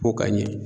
Ko ka ɲɛ